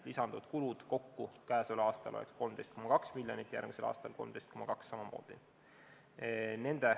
Lisanduvad kulud kokku oleks tänavu 13,2 miljonit ja järgmisel aastal samamoodi 13,2 miljonit.